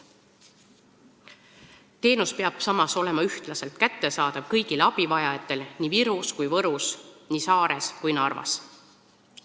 Teenus peab samas olema ühtlaselt kättesaadav kõigile abivajajatele nii Virus kui ka Võrus, nii Saares kui ka Narvas.